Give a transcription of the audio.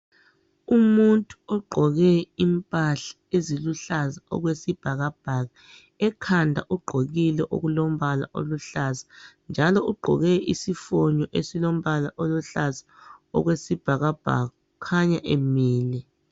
umuntu oqhoke impahla eziluhlaza okwebhakabhaka ekhanda ugqokile okulompala oluhlaza njalo ugqokile isifolo esilombala oluhlaza okwesibhakabhaka kukhanya emile.